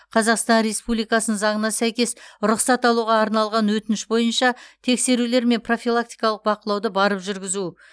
қазақстан республикасының заңына сәйкес рұқсат алуға арналған өтініш бойынша тексерулер және профилактикалық бақылауды барып жүргізу